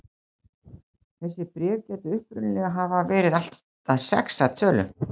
Þessi bréf gætu upprunalega hafa verið allt að sex að tölu.